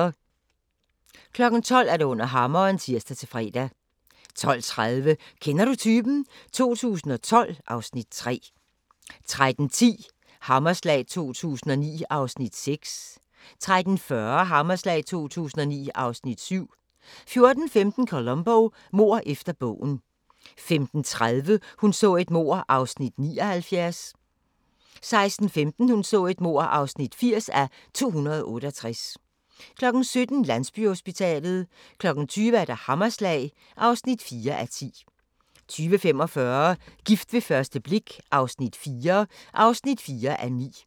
12:00: Under hammeren (tir-fre) 12:30: Kender du typen? 2012 (Afs. 3) 13:10: Hammerslag 2009 (Afs. 6) 13:40: Hammerslag 2009 (Afs. 7) 14:15: Columbo: Mord efter bogen 15:30: Hun så et mord (79:268) 16:15: Hun så et mord (80:268) 17:00: Landsbyhospitalet 20:00: Hammerslag (4:10) 20:45: Gift ved første blik – IV (4:9)